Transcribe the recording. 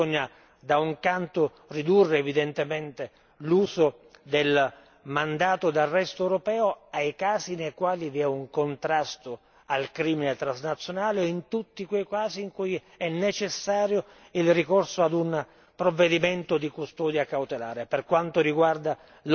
Per poterlo fare bisogna ridurre evidentemente l'uso del mandato di arresto europeo ai casi nei quali vi è un contrasto al crimine transnazionale e in tutti quei casi in cui è necessario il ricorso ad un provvedimento di custodia cautelare.